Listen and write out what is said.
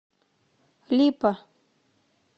липа